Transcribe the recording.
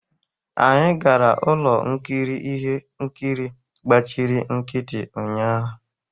Anyị gara ụlọ nkiri ihe nkiri gbachiri nkịtị ụnyaahụ.